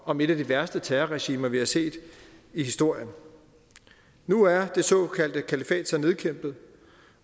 om et af de værste terrorregimer vi har set i historien nu er det såkaldte kalifat så nedkæmpet